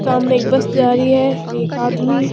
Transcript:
सामने एक बस जा रही है एक आदमी --